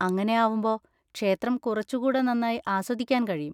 അങ്ങനെ ആവുമ്പൊ ക്ഷേത്രം കുറച്ചുകൂടെ നന്നായി ആസ്വദിക്കാൻ കഴിയും.